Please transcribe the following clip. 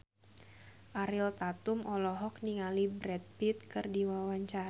Ariel Tatum olohok ningali Brad Pitt keur diwawancara